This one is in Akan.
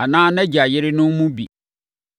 “ ‘Anaa nʼagya yerenom mu bi.